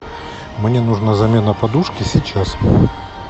мне нужна замена подушки сейчас